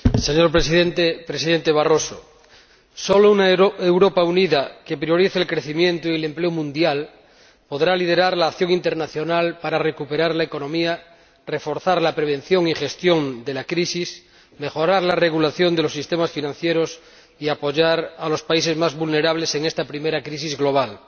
Señor Presidente, Presidente Barroso, solo una Europa unida que priorice el crecimiento y el empleo mundial podrá liderar la acción internacional para recuperar la economía, reforzar la prevención y gestión de la crisis, mejorar la regulación de los sistemas financieros y apoyar a los países más vulnerables en esta primera crisis global.